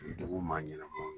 Dugu maa ɲɛnamaw.